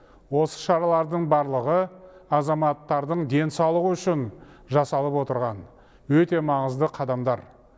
осы шаралардың барлығы азаматтардың денсаулығы үшін жасалып отырған өте маңызды қадамдар